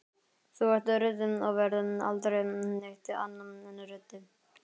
Þú ert ruddi og verður aldrei neitt annað en ruddi.